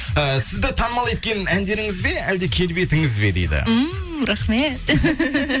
ііі сізді танымал еткен әндеріңіз бе әлде келбетіңіз бе дейді ммм рахмет